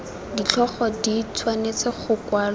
ditlhogo di tshwanetse go kwalwa